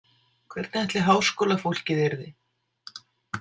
Hvernig ætli háskólafólkið yrði?